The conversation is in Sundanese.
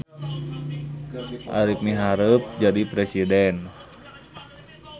Arip miharep jadi presiden